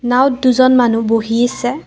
নাওঁত দুজন মানুহ বহি আছে।